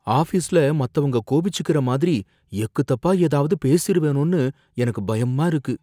ஆஃபீஸ்ல மத்தவங்க கோபிச்சுக்கிற மாதிரி எக்குத்தப்பா ஏதாவது பேசிருவேனோன்னு எனக்கு பயமா இருக்கு.